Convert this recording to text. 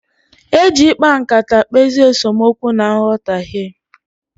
Eji ịkpa nkata ekpezi esemookwu na nghọtaghie.